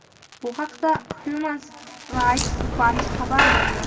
Bu haqda "Human Rights Watch" xabar bergan.